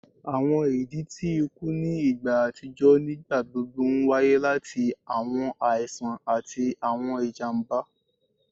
Awọn idi ti iku ni igba atijọ nigbagbogbo nwaye lati awọn aisan ati awọn ijamba